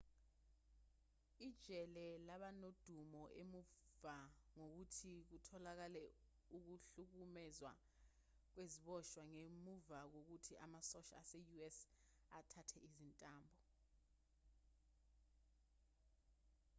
ijele laba nodumo emuva kokuthi kutholakale ukuhlukumezwa kweziboshwa ngemuva kokuthi amasosha ase-us athatha izintambo